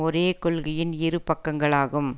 ஒரே கொள்கையின் இரு பக்கங்களாகும்